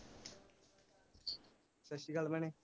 ਸਤਿ ਸ੍ਰੀ ਅਕਾਲ ਭੈਣੇ